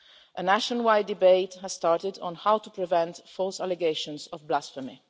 A nationwide debate has started on how to prevent false allegations of blasphemy.